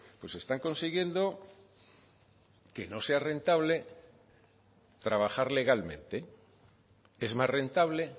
pues están consiguiendo que no sea rentable trabajar legalmente es más rentable